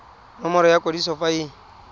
nomoro ya kwadiso fa e